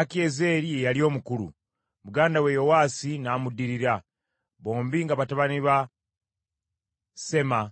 Akiyezeeri ye yali omukulu, muganda we Yowaasi n’amuddirira, bombi nga batabani ba Semaa